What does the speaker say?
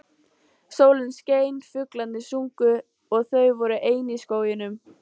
Sólin skein, fuglarnir sungu og þau voru ein í skóginum.